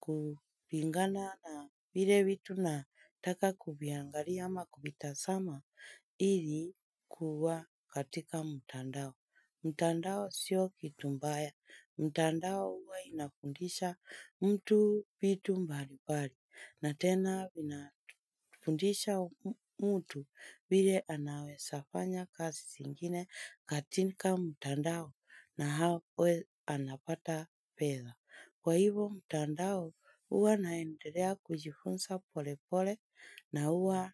kupingana na vile vitu nataka kuviangali ama kuvitazama ili kuwa katika mtandao. Mtandao sio kitu mbaya. Mtandao huwa inafundisha mtu vitu mbalimbali na tena vinafundisha mtu vile anaweza fanya kazi zingine katika mtandao na awe anapata pesa. Kwa hivyo, mtandao huwa naendelea kujifunza polepole na huwa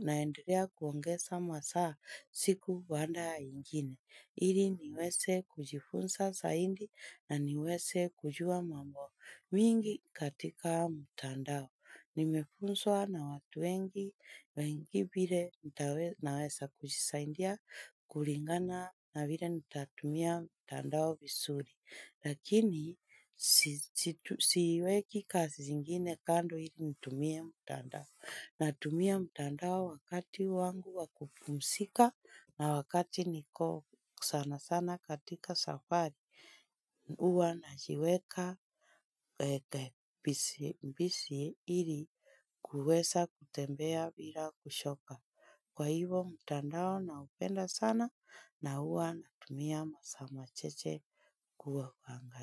naendelea kuongeza masaa siku baada ya ingine. Ili niweze kujifunza zaidi na niweze kujua mambo mingi katika mtandao. Nimefunzwa na watu wengi vile naweza kujisaidia kulingana na vile nitatumia mtandao vizuri. Lakini siweki kazi zingine kando ili nitumie mtandao. Natumia mtandao wakati wangu wa kupumzika na wakati niko sana sana katika safari huwa najiweka busy ili kuweza kutembea bila kuchoka. Kwa hivyo mtandao naupenda sana na huwa natumia masa machache kuangalia.